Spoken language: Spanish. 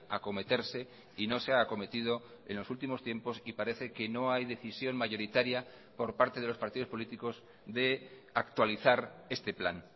acometerse y no se ha acometido en los últimos tiempos y parece que no hay decisión mayoritaria por parte de los partidos políticos de actualizar este plan